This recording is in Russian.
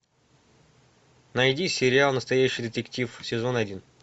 найди сериал настоящий детектив сезон один